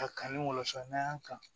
A kanu walansa n'an y'an kan